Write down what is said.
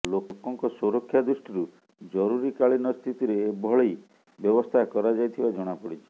ଲୋକଙ୍କ ସୁରକ୍ଷା ଦୃଷ୍ଟିରୁ ଜରୁରୀ କାଳୀନ ସ୍ଥିତିରେ ଏଭଳି ବ୍ୟବସ୍ଥା କରାଯାଇଥିବା ଜଣାପଡ଼ିଛି